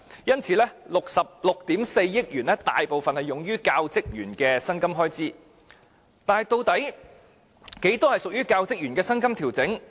因此， 6億 4,400 萬元大部分是用於教職員的薪金開支，但究竟有多少屬於這個部分？